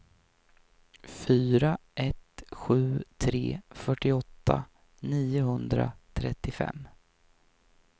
fyra ett sju tre fyrtioåtta niohundratrettiofem